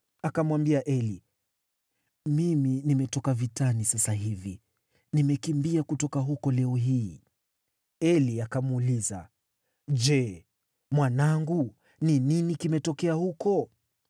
Akamwambia Eli, “Mimi nimetoka vitani sasa hivi, nimekimbia kutoka huko leo hii.” Eli akamuuliza, “Je, mwanangu, ni nini kimetokea huko?”